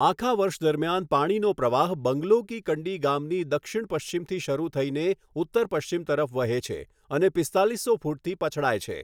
આખા વર્ષ દરમિયાન પાણીનો પ્રવાહ બંગલો કી કંડી ગામની દક્ષિણ પશ્ચિમથી શરૂ થઈને ઉત્તર પશ્ચિમ તરફ વહે છે અને પિસ્તાલીસો ફૂટથી પછડાય છે.